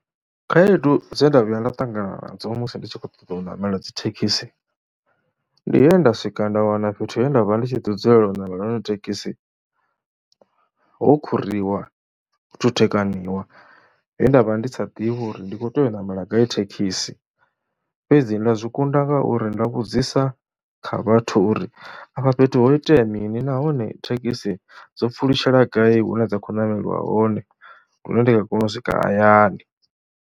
Khaedu dze nda vhuya nda ṱangana nadzo musi ndi tshi khou ṱoḓa u ṋamela dzi thekhisi, ndi he nda swika nda wana fhethu he nda vha ndi tshi ḓi dzulela u ṋamela hone thekhisi ho khuriwa, ho thuthekanyiwa muthu he nda vha ndi sa ḓivhi uri ndi khou tea u ṋamela gai thekhisi. Fhedzi nda zwi kunda ngauri nda vhudzisa kha vhathu uri afha fhethu ho itea mini nahone thekhisi dzo pfhulutshela gai hune dza khou ṋameliwa hone, hune ndi nga kona u swika hayani.